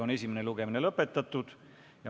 Esimene lugemine on lõpetatud.